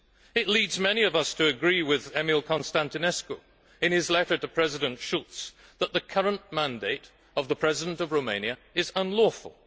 It leads many of us to agree with Emil Constantinescu in his letter to President Schulz that the current mandate of the President of Romania is unlawful.